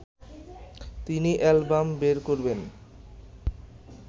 তিনি অ্যালবাম বের করবেন